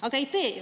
Aga ei tee ju …